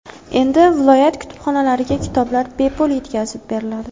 Endi viloyat kutubxonalariga kitoblar bepul yetkazib beriladi.